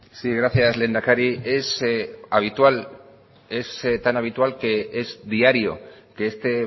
sí gracias lehendakari es habitual es tan habitual que es diario que este